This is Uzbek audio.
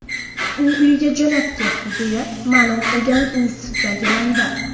U uyiga jo‘nab ketdi”, deya ma’lum qilgan institutdagi manba.